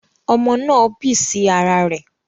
Omo náà bì sí ara rẹ̀